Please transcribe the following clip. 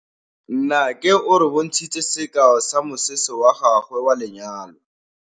Nnake o re bontshitse sekaô sa mosese wa gagwe wa lenyalo.